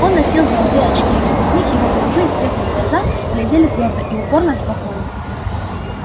он носил золотые очки сквозь них его голубые светлые глаза глядели твёрдо и упорно-спокойно